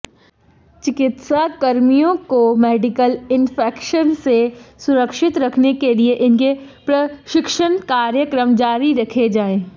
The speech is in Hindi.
चिकित्साकर्मियों को मेडिकल इंफेक्शन से सुरक्षित रखने के लिए इनके प्रशिक्षण कार्यक्रम जारी रखे जाएं